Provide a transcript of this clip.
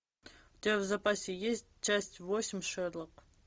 у тебя в запасе есть часть восемь шерлок